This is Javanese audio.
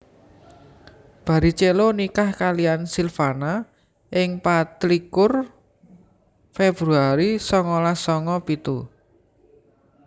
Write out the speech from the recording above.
Barrichello nikah kaliyan Silvana ing patlikur Februari songolas songo pitu